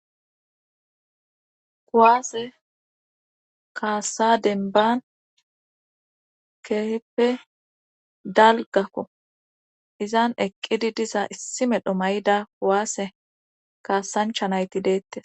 Kuwaase kaassa denban keeheppe dalgakko izan eqqidi diza issi medho mayda kuwaase kaasanchanayti deette.